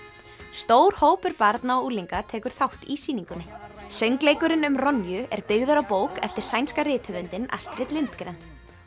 stór hópur barna og unglinga tekur þátt í sýningunni söngleikurinn um er byggður á bók eftir sænska rithöfundinn Astrid Lindgren